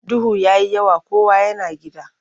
Duhu ya yi yawa kowa yana gida.